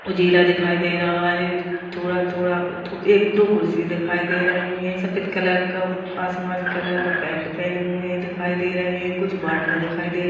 उजीला दिखाई दे रहा है थोड़ा-थोड़ा एक दो कुर्सियाँ दिखाई दे रही है सफेद कलर का आसमानी कलर का पैंट पहने हुए दिखाई दे रहे कुछ बॉटलें दिखाई दे --